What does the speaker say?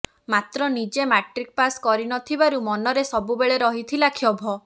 ମାତ୍ର ନିଜେ matric pass କରିନଥିବାରୁ ମନରେ ସବୁବେଳେ ରହିଥିଲା କ୍ଷୋଭ